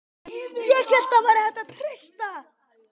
ÉG HÉLT AÐ ÞAÐ VÆRI HÆGT AÐ TREYSTA